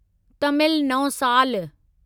तामिल नओं सालु